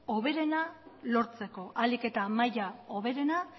hoberena lortzeko ahalik eta maila hoberena